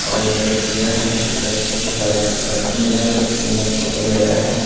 और एक जो है व्यक्ति जो सेल्फी मिरर फोटो ले रहा है।